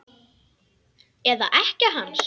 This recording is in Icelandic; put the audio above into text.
Eða ekkja hans?